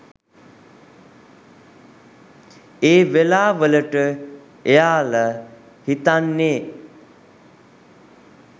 ඒ වෙලාවලට එයාල හිතන්නෙ